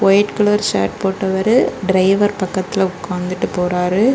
White colour shirt போட்டவரு driver பக்கத்துல உக்காந்துட்டு போறாரு.